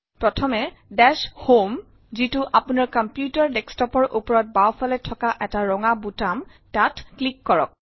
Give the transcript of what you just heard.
প্ৰথমে দাশ Homeডেচ হম যিটো আপোনাৰ কম্পিউটাৰ Desktopৰ ওপৰত বাওঁফালে থকা এটা ৰঙা বুটাম তাত ক্লিক কৰক